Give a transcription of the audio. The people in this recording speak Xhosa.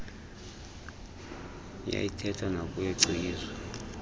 uyayiithetha nakuye cikizwa